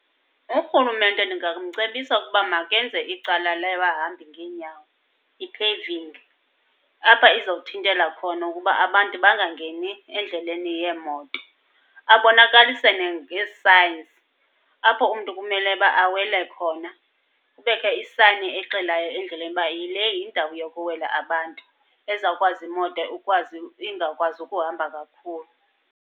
Urhulumente ndingamcebisa ukuba makenze icala lebahambi ngeenyawo, i-paving. Apha izawuthintela khona ukuba abantu bangangeni endleleni yeemoto. Abonakalise nangee-signs apho umntu kumele uba awele khona. Kubekho isayini exelayo endleleni uba yile yindawo yokuwela abantu, ezawukwazi imoto ukwazi ingakwazi ukuhamba kakhulu.